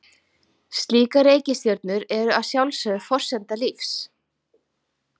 Slíkar reikistjörnur eru að sjálfsögðu forsenda lífs.